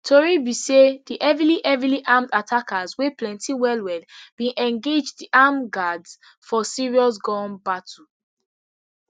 tori be sey di heavily heavily armed attackers wey plenty wellwell bin engage di armed guards for serious gun battle